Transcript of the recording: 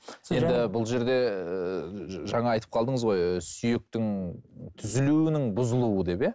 бұл жерде жаңа айтып қалдыңыз ғой сүйектің түзілуінің бұзылуы деп иә